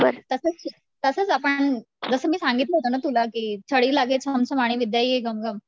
तसच आपण, जसं मी सांगितलं होत ना तुला की छडी लागे छम छम आणि विद्या येई घम घम